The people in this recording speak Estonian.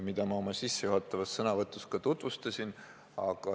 Ma seda oma sissejuhatavas sõnavõtus ka tutvustasin.